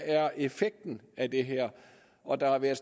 effekten af det her er og der har været